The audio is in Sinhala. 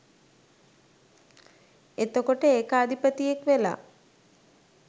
එතකොට ඒකාධිපතියෙක් වෙලා